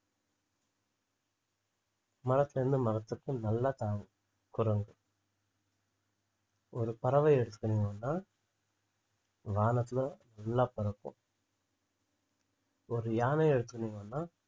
மரத்துல இருந்து மரத்துக்கு நல்லா தாவும் குரங்கு ஒரு பறவையை எடுத்துனீங்கன்னா வானத்துல நல்லா பறக்கும் ஒரு யானை இருக்குனீங்கன்னா